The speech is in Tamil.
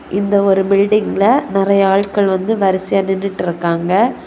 இந்த ஒரு பில்டிங்ல நெறய ஆள்கள் வந்து வரிசையா நின்னுட்ருக்காங்க.